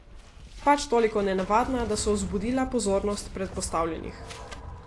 Pač toliko nenavadna, da so vzbudila pozornost predpostavljenih.